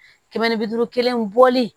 Kɛmɛ ni bi duuru kelen bɔli